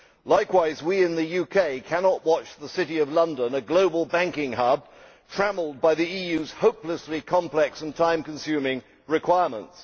Likewise, we in the UK cannot watch the City of London a global banking hub be trammelled by the EU's hopelessly complex and time consuming requirements.